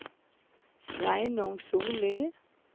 Sveinung Sollie